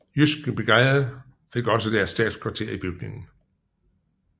Jyske Brigade fik også deres stabskvarter i bygningen